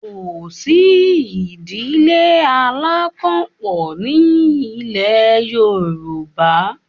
Kò sí ìdílé alákanpọ̀ ní il̀ẹ Yorùbá